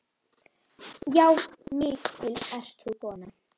Já, mikil ert þú kona.